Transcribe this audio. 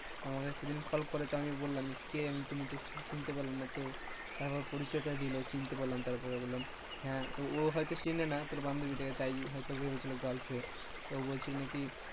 তো আমাকে সেদিন call করে তো আমি বললাম কে তুমি ঠিক চিনতে পারলাম না, তো তার পর পরিচয়টা দিলো, চিনতে পারলাম তারপরে বললাম হ্যাঁ, ও হয়তো চেনে না তোর বান্ধবী টাকে তাই হয়তো ভেবেছিল girlfriend তো বলছিল নাকি,